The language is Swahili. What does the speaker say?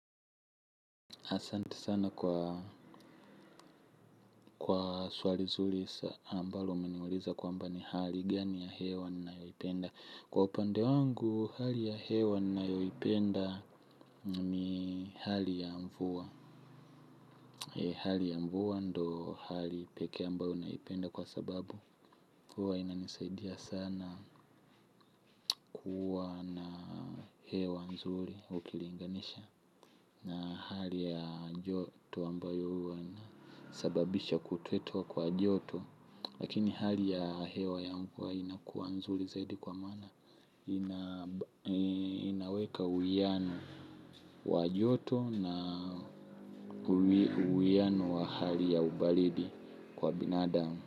Asante sana kwa swali zuri ambalo umeniuliza kwamba ni hali gani ya hewa ninayoipenda. Kwa upande wangu, hali ya hewa ninayoipenda ni hali ya mvua hali ya mvua ndio hali pekee ambayo naipenda kwa sababu huwa inanisaidia sana kuwa na hewa nzuri ukilinganisha na hali ya joto ambayo sababisha kutuetua kwa joto. Lakini hali ya hewa ya mvua inakuwa nzuri zaidi kwa mana ina inaweka uwiano wa joto na uwiano wa hali ya ubaridi kwa binadamu.